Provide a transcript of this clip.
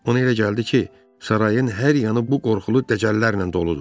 Ona elə gəldi ki, sarayın hər yanı bu qorxulu dəcəllərlə doludur.